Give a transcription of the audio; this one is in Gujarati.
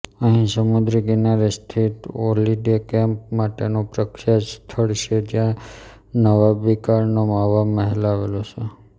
અહીં સમુદ્રકિનારે સ્થિત હોલિડે કેમ્પ માટેનું પ્રખ્યાત સ્થળ છે જ્યાં નવાબીકાળનો હવામહેલ આવેલો છે